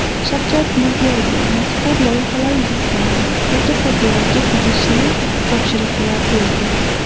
Shavkat Mirziyoyev mazkur loyihalar yuzasidan mutasaddilarga tegishli topshiriqlar berdi.